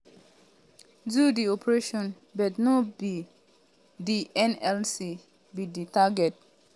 do di operation but no be um di nlc be di target.